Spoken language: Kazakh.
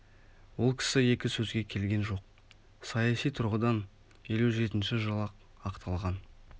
ол кісі екі сөзге келген жоқ саяси тұрғыдан елу жетінші жылы-ақ ақталған